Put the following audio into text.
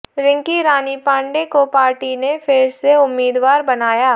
रिंकी रानी पांडे को पार्टी ने फिर से उम्मीदवार बनाया